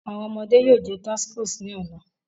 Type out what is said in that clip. Awọn ọmọde yoo jẹ tacos ni ọla